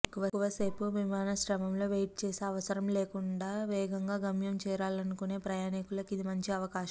ఎక్కువ సేపు విమానాశ్రయంలో వెయిట్ చేసే అవసరం లేకుండా వేగంగా గమ్యం చేరాలనుకునే ప్రయాణికులకు ఇది మంచి అవకాశమే